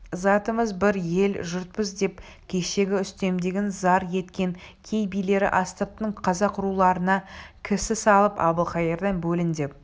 затымыз бір ел-жұртпыз деп кешегі үстемдігін зар еткен кей билері астыртын қазақ руларына кісі салып әбілқайырдан бөлін деп